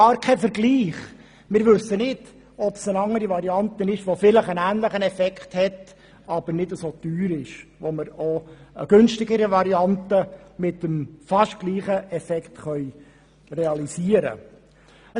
Wir haben gar keine Vergleichsmöglichkeit und wissen nicht, ob eine andere Variante einen ähnlichen Effekt hätte, jedoch nicht dermassen teuer wäre, sodass eine günstigere Variante mit dem fast gleichen Effekt realisiert werden könnte.